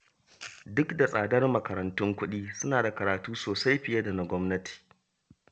Duk da tsadar makarantun kuɗi, suna da karatu sosai fiye da na gwamnati